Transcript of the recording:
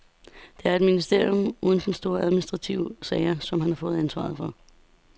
Det er et ministerium uden store administrative sager, som han får ansvaret for.